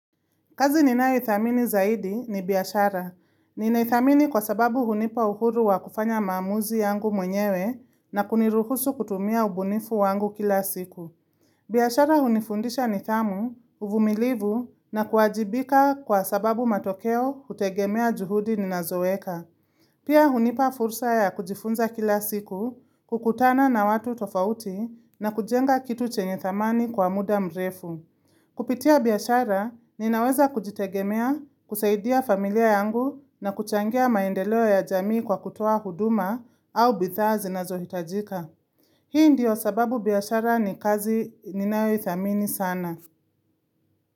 Kazi ninayoidhamini zaidi ni biashara. Ninaidhamini kwa sababu hunipa uhuru wa kufanya maamuzi yangu mwenyewe na kuniruhusu kutumia ubunifu wangu kila siku. Biashara hunifundisha nidhamu, uvumilivu na kuajibika kwa sababu matokeo hutegemea juhudi ninazoweka. Pia hunipa fursa ya kujifunza kila siku, kukutana na watu tofauti na kujenga kitu chenye dhamani kwa muda mrefu. Kupitia biashara, ninaweza kujitegemea, kusaidia familia yangu na kuchangia maendeleo ya jamii kwa kutoa huduma au bidhaa zinazohitajika. Hii ndiyo sababu biashara ni kazi ninayoidhamini sana.